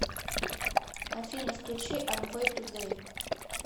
афина включи амвэй тудэй